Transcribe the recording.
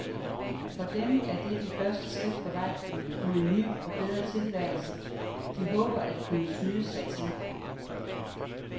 For dem er det det første skridt på vej mod en ny og bedre tilværelse, de håber at kunne snyde sig til.